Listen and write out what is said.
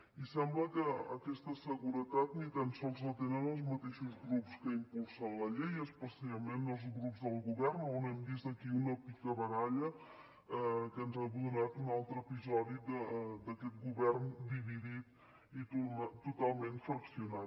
i sembla que aquesta seguretat ni tan sols la tenen els mateixos grups que impulsen la llei especialment els grups del govern on hem vist aquí una picabaralla que ens ha donat un altre episodi d’aquest govern dividit i totalment fraccionat